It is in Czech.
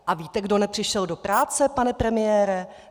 A víte, kdo nepřišel do práce, pane premiére?